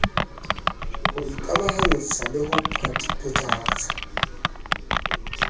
ho ikamahantsha le ho phathahatsa